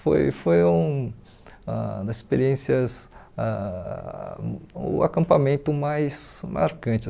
Foi foi um ãh da experiências, ãh o acampamento mais marcante.